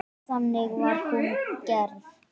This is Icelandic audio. Þannig var hún gerð.